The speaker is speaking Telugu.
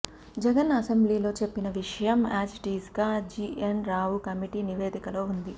జగన్ అసెంబ్లీలో చెప్పిన విషయం యాజిటీజ్ గా జీఎన్ రావు కమిటీ నివేదకలో ఉంది